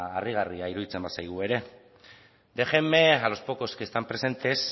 harrigarria iruditzen bazaigu ere déjenme a los pocos que están presentes